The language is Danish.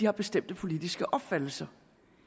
har bestemte politiske opfattelser